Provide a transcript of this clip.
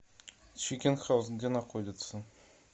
чикен хауз где находится